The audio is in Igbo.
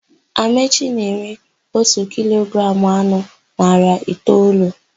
Amaechi na-ere ótù kilogramụ anụ narị naịra itoolu.